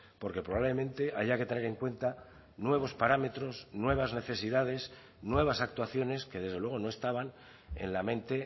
porque probablemente haya que tener en cuenta nuevos parámetros nuevas necesidades nuevas actuaciones que desde luego no estaban en la mente